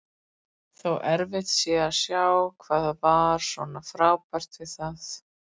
Þó erfitt sé að sjá hvað var svona frábært við það.